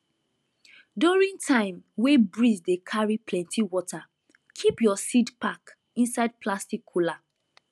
during time wey breeze dey carry plenty water keep your seed pack inside plastic cooler